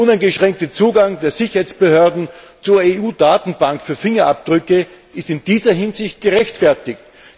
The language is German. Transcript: Der uneingeschränkte Zugang der Sicherheitsbehörden zur EU Datenbank für Fingerabdrücke ist in dieser Hinsicht gerechtfertigt.